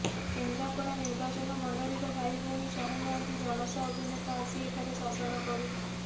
କେନ୍ଦ୍ରାପଡ଼ା ନିର୍ବାଚନମଣ୍ଡଳୀର ଭାଇଭଉଣୀ ଚାହୁଁନାହାନ୍ତି ଜଣଷ ଅଭିନେତା ଆସି ଏଠାରେ ଶାସନ କରୁ